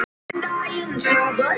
Hún er stór.